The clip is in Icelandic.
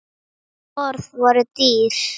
Orð voru dýr.